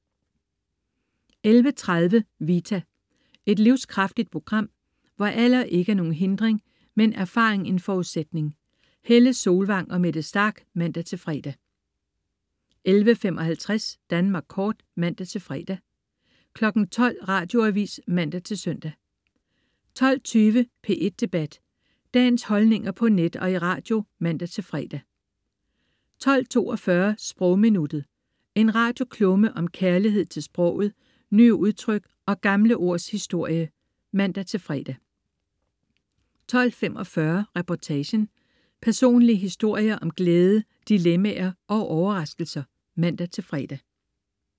11.30 Vita. Et livskraftigt program, hvor alder ikke er nogen hindring, men erfaring en forudsætning. Helle Solvang og Mette Starch (man-fre) 11.55 Danmark kort (man-fre) 12.00 Radioavis (man-søn) 12.20 P1 Debat. Dagens holdninger på net og i radio (man-fre) 12.42 Sprogminuttet. En radioklumme om kærlighed til sproget, nye udtryk og gamle ords historie (man-fre) 12.45 Reportagen. Personlige historier om glæde dilemmaer og overraskelser (man-fre)